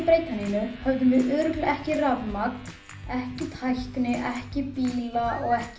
breyta neinu hefðum við örugglega ekki rafmagn ekki tækni ekki bíla og ekki